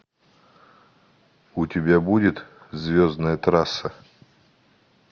у тебя будет звездная трасса